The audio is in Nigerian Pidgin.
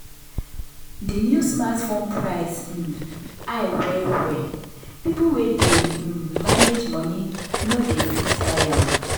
the new smartphone price um high well well people wey dey um manage money no dey fit buy am.